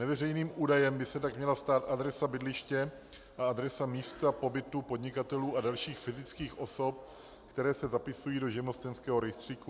Neveřejným údajem by se tak měla stát adresa bydliště a adresa místa pobytu podnikatelů a dalších fyzických osob, které se zapisují do živnostenského rejstříku.